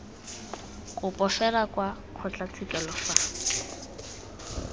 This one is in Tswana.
kopo fela kwa kgotlatshekelo fa